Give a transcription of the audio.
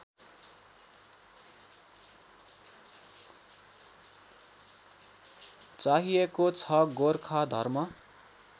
चाहिएको छ गोर्खाधर्म